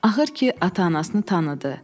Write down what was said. Axır ki, ata-anasını tanıdı.